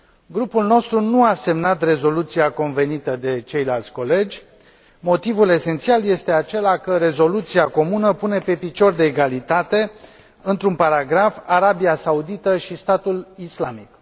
Grupul nostru nu a semnat rezoluția convenită de ceilalți colegi, motivul esențial este acela că rezoluția comună pune pe picior de egalitate, într un paragraf, Arabia Saudită și Statul Islamic.